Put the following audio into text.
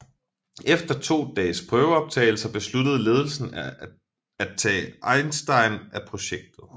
Efter to dages prøveoptagelser besluttede ledelsen af tage Eisenstein af projektet